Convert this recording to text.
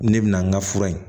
Ne bɛ na n ka fura ye